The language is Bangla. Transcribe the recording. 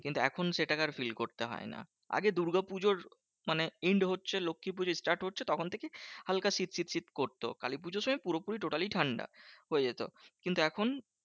কিন্তু এখন সেটাকে আর feel করতে হয় না। আগে দুর্গাপুজোর মানে end হচ্ছে লক্ষীপুজো start হচ্ছে তখন থেকেই হালকা শীত শীত শীত করতো। কালীপুজোর সময় পুরোপুরি totally ঠান্ডা হয়ে যেত। কিন্তু এখন